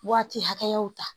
Waati hakɛyaw ta